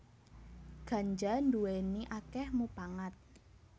Ganja nduwèni akèh mupangat